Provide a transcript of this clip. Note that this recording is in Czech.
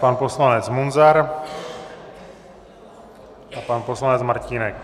Pan poslanec Munzar, pan poslanec Martínek.